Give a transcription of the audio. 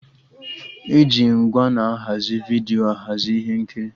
E ji ngwa na-ahazi vidiyo ahazi ihe nkiri